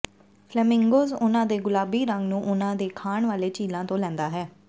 flamingos ਉਨ੍ਹਾਂ ਦੇ ਗੁਲਾਬੀ ਰੰਗ ਨੂੰ ਉਨ੍ਹਾਂ ਦੇ ਖਾਣ ਵਾਲੇ ਝੀਲਾਂ ਤੋਂ ਲੈਂਦਾ ਹੈ